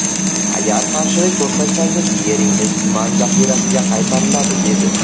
Agar qarshilik ko‘rsatsangiz, yeringiz tuman zaxirasiga qaytariladi’, dedi.